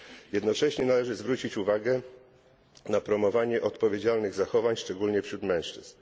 Jednocześnie należy zwrócić uwagę na promowanie odpowiedzialnych zachowań, szczególnie wśród mężczyzn.